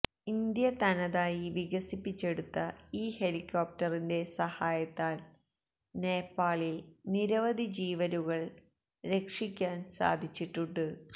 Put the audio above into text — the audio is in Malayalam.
ഇന്ത്യ തനതായി വികസിപ്പിച്ചെടുത്ത ഈ ഹെലികോപ്റ്ററിന്റെ സഹായത്താല് നേപ്പാളില് നിരവധി ജീവനുകള് രക്ഷിക്കാന് സാധിച്ചിട്ടുണ്ട്